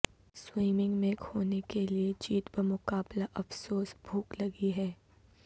swimming میں کھونے کے لئے جیت بمقابلہ افسوس بھوک لگی ہے